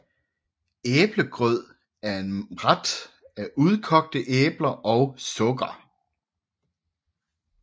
Æblegrød er en ret af udkogte æbler og sukker